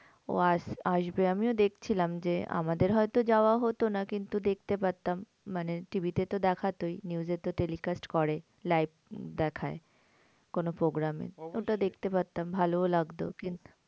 ও আস আসবে। আমিও দেখছিলাম যে, আমাদের হয়তো যাওয়া হতো না কিন্তু দেখতে পারতাম। মানে TV তে তো দেখাতই news এ তো telecast করেই live দেখায়। কোনো program ই ওটা দেখতে পারতাম ভালোও লাগতো। কিন্তু